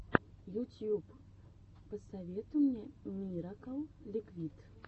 ютьюб посоветуй мне миракл ликвид